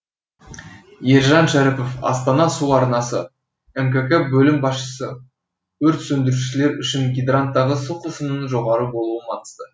ержан шәріпов астана су арнасы мкк бөлім басшысы өрт сөндірушілер үшін гидранттағы су қысымының жоғары болуы маңызды